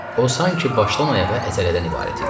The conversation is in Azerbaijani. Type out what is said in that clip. O sanki başdan ayağa əzələdən ibarət idi.